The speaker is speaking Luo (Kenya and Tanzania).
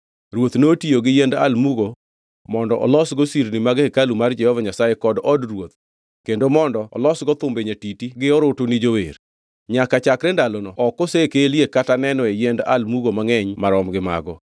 Ruoth notiyo gi yiend almugo mondo olosgo sirni mag hekalu mar Jehova Nyasaye kod od ruoth kendo mondo olosgo thumbe nyatiti gi orutu ni jower. Nyaka chakre ndalono ok osekelie kata nenoe yiend almugo mangʼeny marom gi mago.